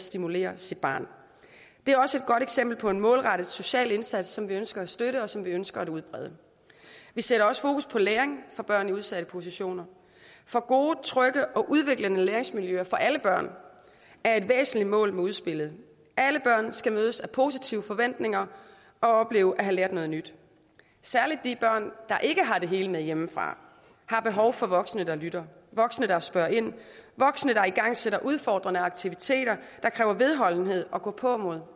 stimulerer sit barn det er også et godt eksempel på en målrettet social indsats som vi ønsker at støtte og som vi ønsker at udbrede vi sætter også fokus på læring for børn i udsatte positioner for gode trygge og udviklende læringsmiljøer for alle børn er et væsentligt mål med udspillet alle børn skal mødes af positive forventninger og opleve at have lært noget nyt særlig de børn der ikke har det hele med hjemmefra har behov for voksne der lytter voksne der spørger ind voksne der igangsætter udfordrende aktiviteter der kræver vedholdenhed og gåpåmod